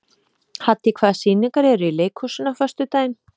Haddý, hvaða sýningar eru í leikhúsinu á föstudaginn?